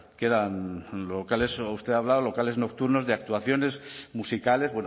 quedan locales lo que usted habla locales nocturnos de actuaciones musicales